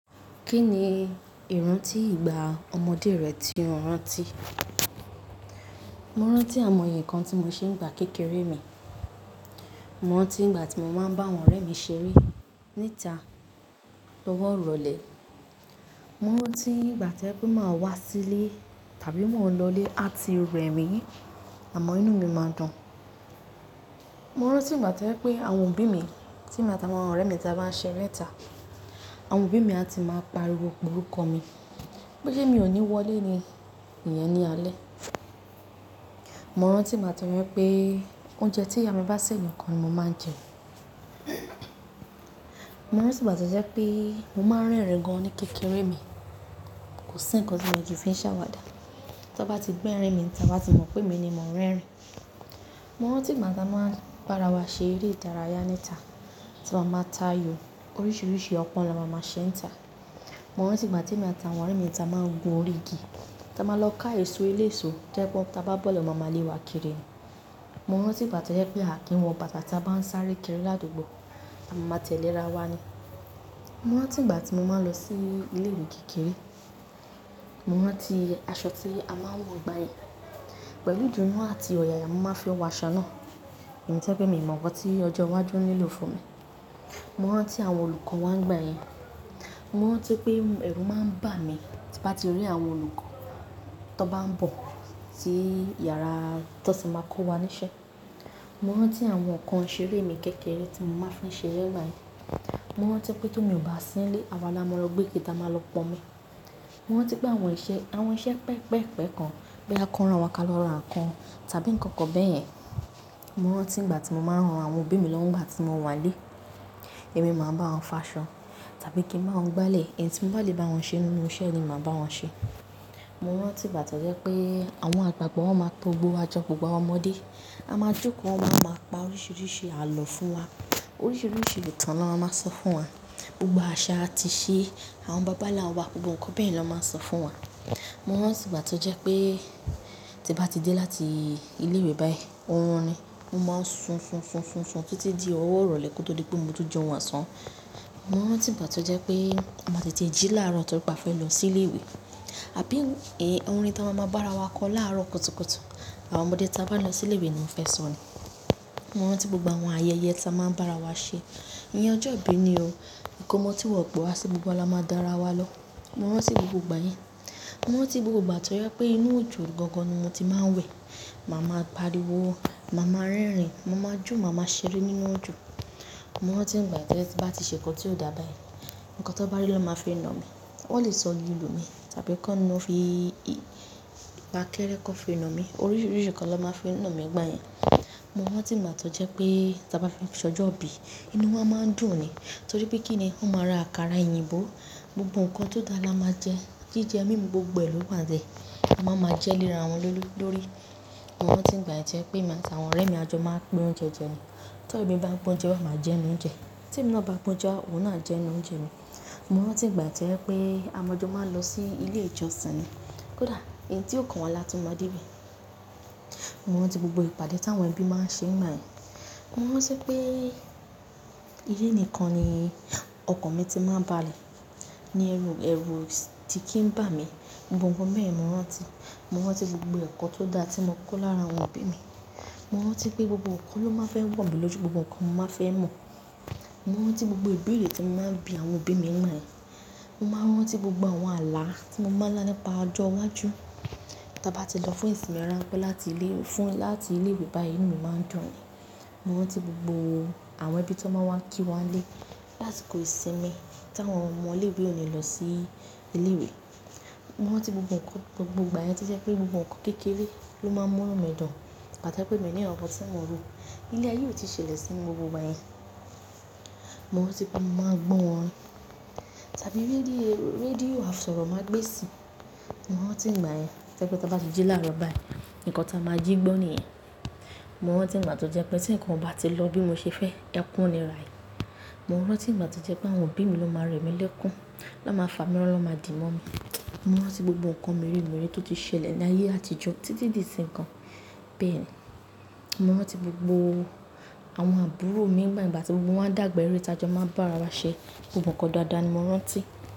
Kí ni ìrántí ìgbà ọmọdé rẹ tí o rántí? Mo rántí àwọn ẹ̀yàn kan tí mo ṣe ń gbà kékeré mi. Mo rántí ìgbà tí mo máa ń bá àwọn ọ̀rẹ́ mi ṣeré níta, lọ́wọ́ ọ̀rọ̀ ilẹ̀. Mo rántí ìgbà tí o je wipe máa ń wá sílé tàbí máa ń lọlé, a ti rẹ̀mí, àmọ́ inú mi máa dùn. Mo rántí ìgbà tó jẹ́ pé àwọn òbí mi tí mo àti àwọn ọ̀rẹ́ mi ta bá ń ṣeré níta, àwọn òbí mi a ti máa pariwo pẹ̀lú orúkọ mi pé lé mi ò ní wọlé ni, iyen ni alẹ́. Mo rántí ìgbà tó jẹ́ pé oúnjẹ tí ìyá mi bá sè nìkan ni mo máa ń jẹ. Mo rántí ìgbà tó jẹ́ pé mo máa ń rẹ́rìn gan-an ní kékeré mi, kò sí nǹkan tí mo ti fi ń ṣàwàdà. Tí wọ́n bá ti gbé ẹ̀rín mi níta, wọ́n á ti mọ̀ pé mi ni mò ń rẹ́rìn. Mo rántí ìgbà tí a máa ń bára wa ṣeré ìdara yá níta, tí a máa máa ta ayò, oríṣiríṣi ọpọ́n ni a máa máa ṣe níta. Mo rántí ìgbà tí èmi àti àwọn ọ̀rẹ́ mi ta máa ń gun orí igi, tí a máa lọ ká èso eléso, ti o je wipe, tí a bá bọ́ lọ máa ma lé wa kiri ni. Mo rántí ìgbà tó jẹ́ pé a kì í wọ bàtà tí a bá ń sáré kiri ládùgbò, a máa ma tẹ̀lé ara wa ni. Mo rántí ìgbà tí mo máa ń lọ sí ilé ìwé kékeré. Mo rántí aṣọ tí a máa ń wọ̀ gbá yẹn. Pẹ̀lú ìdunú àti ọ̀yàyà mo máa fi ọ̀wọ̀ aṣọ náà. Emi tí o je pé mi ò mọ̀ nkan tí ọjọ́ iwájú ń nílò fún mi. Mo rántí àwọn olùkọ́ wa nígbà yẹn. Mo rántí pé ẹ̀rù máa ń bà mí tí bá ti rí àwọn olùkọ́ tí wọ́n bá ń bọ̀ sí yàrá tí wọ́n sì máa kó wa ní iṣẹ́. Mo rántí àwọn ǹkan ìṣeré mi kékeré tí mo máa ń fi ṣeré n gba yen. Mo rántí pé tó omi o bá sí nílé, awa ni a máa lọ gbé ike ti a máa lọ pọ́nmi. Mo rántí pé àwọn iṣẹ́, àwọn iṣẹ́ pẹpẹ́ẹ̀pẹ́ kan, bí a bá kọ́ran wa kálọ́ ran kankan tàbí nǹkan kan bẹ́ẹ̀ yẹn. Mo rántí ìgbà tí mo máa ń ran àwọn òbí mi lọ́wọ́ nígbà tí wọ́n wà nílé. Ẹ̀mí máa ń bá wọn fà aṣọ tàbí kí ń ba won gbálẹ̀, èyí tí mo bá lè bá wọn ṣe nínú iṣẹ́ ni màá bá wọn ṣe. Mo rántí ìgbà tó jẹ́ pé àwọn àgbàgbọ́ máa tó gbó wa jọ, gbogbo àwọn ọmọdé. A máa jókòó, wọ́n máa pa oríṣiríṣi àlọ́ fún wa. Oríṣiríṣi ìtàn ni wọ́n máa sọ fún wa. Gbogbo àṣà atí ṣe, àwọn bàbá nla wa, gbogbo nǹkan bẹ́yen lọ máa sọ fún wa. Mo rántí ìgbà tó jẹ́ pé tí bá ti dé láti ilé ìwé báyìí, orun ni. Mo máa ń sun, sun, sun, sun, sun títí di ọwọ́ irole kí ó tó di pé mo tó jẹun osán. Mo rántí ìgbà tó jẹ́ pé mo máa ti ti jí láàárọ̀ torí pé a fẹ́ lọ sí ilé ìwé. Àbí ó, èé, orin tí a máa ń bá ara wa kọ láàárọ̀ kùtùkùtù, àwọn ọmọdé tí a bá lọ sí ilé ìwé ni wọ́n fẹ́ sọ ni. Mo rántí gbogbo àwọn ayẹyẹ tí a máa ń bá ara wa ṣe. Ìyẹn ọjọ́ ìbí ni o. Ìkómọ tí wọ́n pè é sí i gbogbo la máa dá ara wa lọ. Mo rántí gbogbo ìgbà yẹn. Mo rántí gbogbo ìgbà tó jẹ́ pé inú òjò gangan ni mo ti máa ń wẹ̀. Mo máa ń pariwo, mo máa ń rẹ́rìn-ín, mo máa jó, mo máa ṣeré nínú òjò. Mo rántí ìgbà yẹn tí bá ti ṣe nǹkan tí ó dà báyìí, nǹkan tó bá rí ló máa fi na mi. Wọ́n lè sọ lilù mi tàbí kan nínú, fi ìpàkẹ́rẹ́ kan fi na mi. Oríṣiríṣi nǹkan ló máa fi na mi nígbà yẹn. Mo rántí ìgbà tó jẹ́ pé tí a bá fẹ́ ṣọjọ́ ìbí, inú wa máa ń dùn ni. Torí pé kí ni, wọ́n máa ra àkàrà, òyìnbó. Gbogbo nǹkan tó dára la máa jẹ. Jíjẹ mímu gbogbo e lo wa n le A máa ma jẹ́ léra wọn lórí. Mo rántí ìgbà yẹn tí ẹmi àti àwọn ọ̀rẹ́ mi ajọ máa ń pín oúnjẹ jẹ ni. Tí ọ̀rẹ́ mi bá pín oúnjẹ, wọ́n máa jẹ inú oúnjẹ. Tí èmi lọ bá pín oúnjẹ, òun náà jẹ inú oúnjẹ mi. Mo rántí ìgbà tó jẹ́ pé àwọn ọmọ ajọ máa ń lọ sí ilé ìjọsìn ni. Kódà èyí tí ò kan wọn láti mọ́ dé ibi. Mo rántí gbogbo ìpàdé tí àwọn ẹbí máa ń ṣe ń gbayen Mo rántí pé ilé nìkan ni ọkàn mi ti máa ń ba lè. Ni ẹrú, ẹrú o ti kí ń bà mí. Gbogbo nǹkan bẹ́yen ni mo rántí. Mo rántí gbogbo eko tó daa tí mo kó lára àwọn òbí mi. Mo rántí pé gbogbo nǹkan ló máa n fẹ́ wọ̀ mí lójú, gbogbo nǹkan mo máa n fẹ́ mọ̀. Mo rántí gbogbo ibeere tí mo máa ń bí àwọn òbí mi ní igbayẹn. Mo máa ń rántí gbogbo àwọn ààlà tí mo máa ń lá nípa ọjọ́ iwájú. Tí a bá ti lọ fún ìsinmi ranpe lati ile fún láti ilé ìwé báyìí, inú mi máa ń dùn ni. Mo rántí gbogbo àwọn ẹbí tí wọ́n máa ń wá kí wa nílé láti kọ ìsinmi tí àwọn ọmọ ilé ìwé òní lọ sí ilé ìwé. Mo rántí gbogbo nǹkan, gbogbo ìgbà yẹn tí jẹ́ pé gbogbo nǹkan kékeré ló máa ń mú inu mi dùn. Ìgba ti o je wìpè mi o ni nkankan ti mò ń rò. Ilé ayé ò tí ì ṣẹlẹ̀ sí mi ni gbogbo ìgbà yẹn. Mo rántí pé màá gbọ́n orin tàbí rédíò, rédíò àfọ̀rọ́ màá gbé sí i. Mo rántí ìgbà yẹn tí ẹ pé tí a bá ti jí láàárọ̀ báyìí, nǹkan tí a máa jí gbọ́n nìyẹn. Mo rántí ìgbà tó jẹ́ pé tí nǹkan bá ti lọ bí mo ṣe fẹ́, ekún ni ra yìí. Mo rántí ìgbà tó jẹ́ pé àwọn òbí mi ló máa ń rẹ̀mí lẹ́kún na máa fà mí mora na máa dì mọ́ mi. Mo rántí gbogbo nǹkan meremere tó ti ṣẹlẹ̀ ní ayé àtijọ́ títí di ìsin yii gan bẹ́ẹ̀ni Mo rántí gbogbo àwọn àbúrò mi nígbà tí gbogbo wọn ń dàgbà ẹ̀re tí ajọ máa ń bá ara wa ṣe. Gbogbo nǹkan daadáa ni mo rántí.